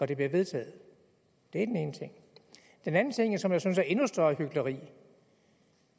det bliver vedtaget det er den ene ting den anden ting som jeg synes er endnu større hykleri